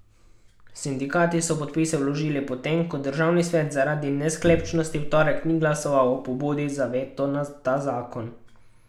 Sindikati so podpise vložili, potem ko državni svet zaradi nesklepčnosti v torek ni glasoval o pobudi za veto na ta zakon.